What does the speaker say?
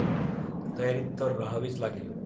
तयारीत तर राहावेच लागेल.